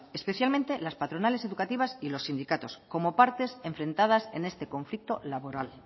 especialmente las patronales educativas y los sindicatos como partes enfrentadas en este conflicto laboral